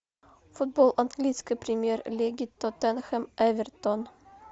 футбол английской премьер лиги тоттенхэм эвертон